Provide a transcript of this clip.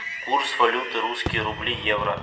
курс валюты русские рубли евро